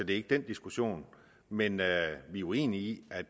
ikke den diskussion men vi er uenige i at